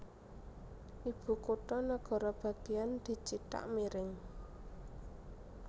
Ibukutha negara bagéyan dicithak miring